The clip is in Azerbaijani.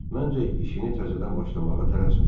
Məncə, işini təzədən başlamağa tələsmə.